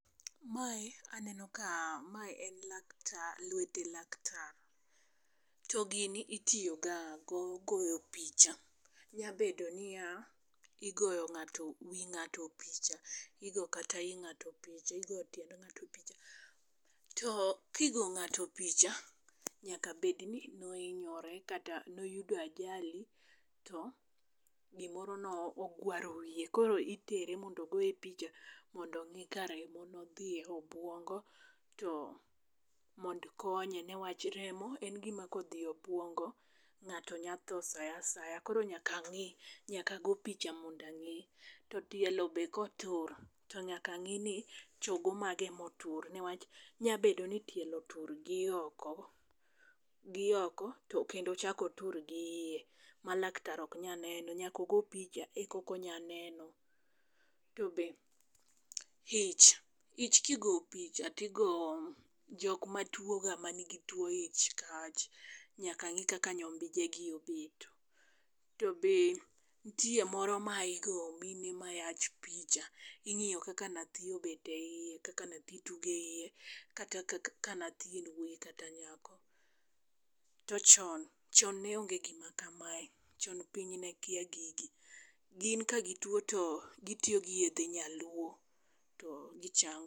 Mae aneno ka mae en laktar, lwete laktar. To gini itiyogo ga goyo picha, nya bedo niya, igoyo ng'ato wi ng'ato picha. Igo kata i ng'ato picha, igo tiend ng'ato picha. To kigo ng'ato picha nyaka bed ni noinyore kata noyudo ajali to gimoro no ogwaro wiye. Koro itere mondo ogoye picha mondo ong'i ka remo nodhiye obwongo, to mond konye. Newach remo en gima kodhiye obwongo, ng'ato nya tho sa asaya. Koro nyaka ng'i, nyaka go picha mondo ang'i. To tielo be kotur, to nyaka ng'i ni chogo mage motur. Newach nya bedo ni tielo otur gi oko, gioko to kendo ochakotur gi iye. Ma laktar ok nya neno, nyakogo picha ekoko nya neno. To be ich, ich kigo picha tigo jokma tuo ga ma nigi tuo ich kach, nyaka ng'i kaka nyombijegi obeto. To be ntie moro ma igo mine mayach picha, ing'iyo kaka nathi obet e iye, kaka nathi tuge iye. Kata kaka ka nathi en wuoyi kata nyako. To chon, chon ne onge gima kamae, chon piny ne kia gigi. Gin ka gituo to gitiyo gi yedhe nyaluo to gichango.